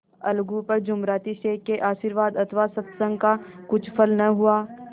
अलगू पर जुमराती शेख के आशीर्वाद अथवा सत्संग का कुछ फल न हुआ